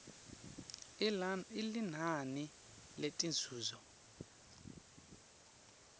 i linani letinzuzo